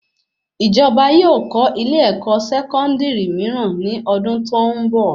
Ìjọba yóò kọ́ ilé ẹkọ sẹkọndiri mìíràn ní ọdún tó n bọ